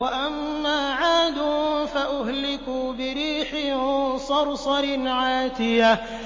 وَأَمَّا عَادٌ فَأُهْلِكُوا بِرِيحٍ صَرْصَرٍ عَاتِيَةٍ